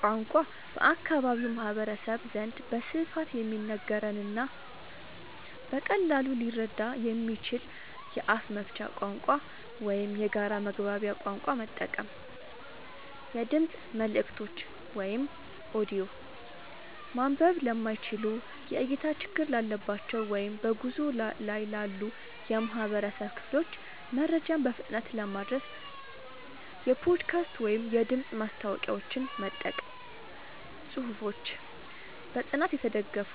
ቋንቋ፦ በአካባቢው ማህበረሰብ ዘንድ በስፋት የሚነገርንና በቀላሉ ሊረዳ የሚችልን የአፍ መፍቻ ቋንቋ ወይም የጋራ መግባቢያ ቋንቋ መጠቀም። የድምፅ መልእክቶች (ኦዲዮ)፦ ማንበብ ለማይችሉ፣ የእይታ ችግር ላለባቸው ወይም በጉዞ ላይ ላሉ የህብረተሰብ ክፍሎች መረጃን በፍጥነት ለማድረስ የፖድካስት ወይም የድምፅ ማስታወቂያዎችን መጠቀም። ጽሁፎች፦ በጥናት የተደገፉ፣